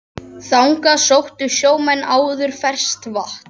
Þangað sóttu sjómenn áður ferskt vatn.